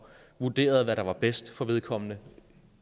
vurderede hvad der var bedst for vedkommende